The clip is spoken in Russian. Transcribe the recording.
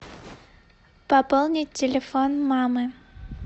пополнить телефон мамы